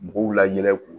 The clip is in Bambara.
Mɔgɔw la yɛlɛ k'u